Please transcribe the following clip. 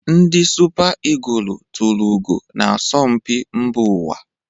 Ndi Supa igụlụ tulu ugo na asọmpi mba ụwa.